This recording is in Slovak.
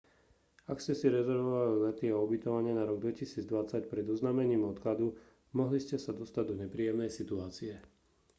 ak ste si rezervovali lety a ubytovanie na rok 2020 pred oznámením odkladu mohli ste sa dostať do nepríjemnej situácie